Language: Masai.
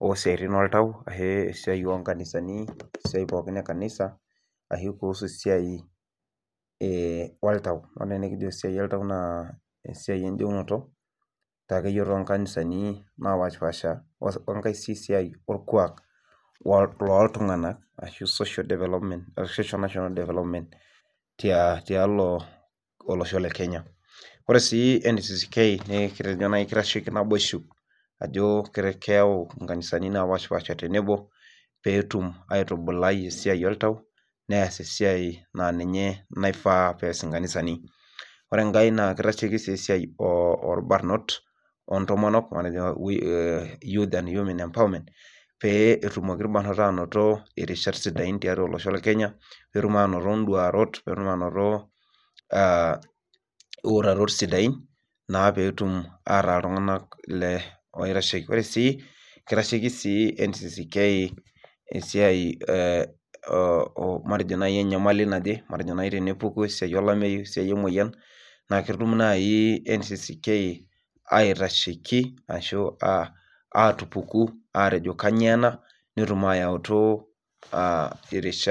oosiatin oltau, esiai oo nkanisani, esiai pookin ekanisa, ashu kuusu esiai, e oltau, ore esiai oltau naa esiai ejeunoto akeyie too nkanisani naapashipaasha, olkuak looltunganak . Ashu social development .ashu national development tialo, olosho le Kenya .ore sii ncck, kitasheki naboisho ajo, keyau nkanisani naapashipaasha tenebo, peetum aitubulai esiai oltau, nees esiai naa ninye naifaa pees nkanisani, ore enkae naa kitasheki sii esiai olbarnot ontomok. Pee, etumoki ilbarnot aanoto irishat sidain tiatua olosho le Kenya. peetum aanoto, iduarot, peetum iitarot sidain. Naa peetum ataa iltunganak, le oitasheki, ore sii, kitasheki sii ncck esiai enyamali naje matejo olameyu emoyian, ketum naaji ncck, aitasheki ashu atupuku ajo kainyioo ena netum atupuku irishat.